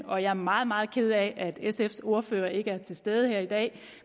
og jeg er meget meget ked af at sfs ordfører ikke er til stede her i dag